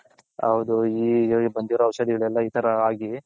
ಹೌದು ಔಷದಿ ಈ ತರ ಆಗಿ.